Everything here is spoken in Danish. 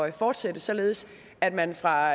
at fortsætte således at man fra